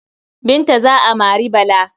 Binta za a mari Bala.